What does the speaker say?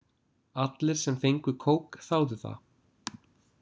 Allir sem fengu kók þáðu það.